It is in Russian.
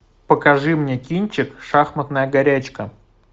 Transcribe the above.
покажи мне кинчик шахматная горячка